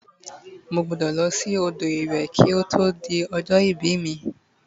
mo gbudo lo si odo iwe ki oto di ojo ibi mi